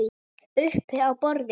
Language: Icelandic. Uppi á borði?